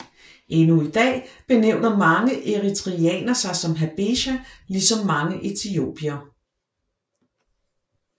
Endnu i dag benævner mange eritreanere sig som Habesha lige som mange etiopiere